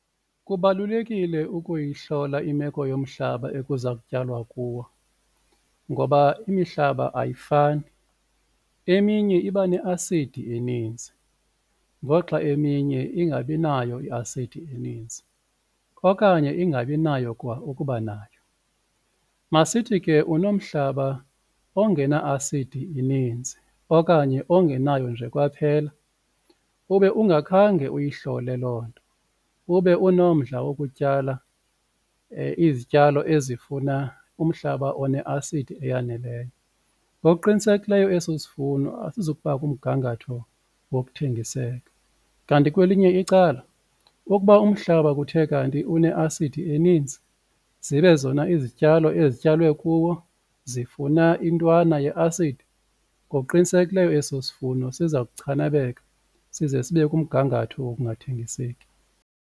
Kubalulekile ukuyihlola imeko yomhlaba ekuza kutyalwa kuwo ngoba imihlaba ayifani eminye iba neasidi eninzi ngoxa eminye ingabi nayo i-acid eninzi okanye ingabi nayo kwa ukuba nayo. Masithi ke unomhlaba ongena asidi ininzi okanye ongenayo nje kwaphela ube ungakhange uyihlole loo nto ube unomdla wokutyala izityalo ezifuna umhlaba oneasidi eyaneleyo. Ngokuqinisekileyo eso sivuno asizukuba kumgangatho wokuthengiseka, kanti kwelinye icala ukuba umhlaba kuthe kanti une asidi eninzi zibe zona izityalo ezityalwe kuwo zifuna intwana yeasidi ngokuqinisekileyo eso sivuno siza kuchanaleka size sibe kumgangatho wokungathengiseki.